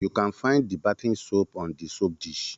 You can find the bathing soap on the soap dish